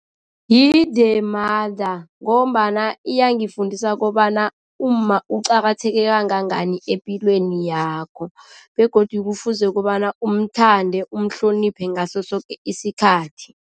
Yi-The Mother ngombana iyangifundisa kobana umma uqakatheke kangangani epilweni yakho begodu kufuze kobana umthande, umhloniphe ngaso soke isikhathi.